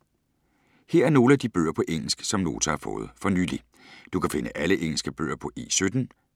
Her er nogle af de bøger på engelsk, som Nota har fået for nylig. Du kan finde alle engelske bøger på E17.